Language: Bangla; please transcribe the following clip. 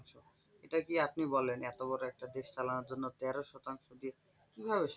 এটা কি আপনি বলেন এত বড় একটা দেশ চালানোর জন্য তেরো শতাংশ দিয়ে কিভাবে সম্ভব?